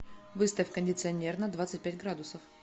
выставь кондиционер на двадцать пять градусов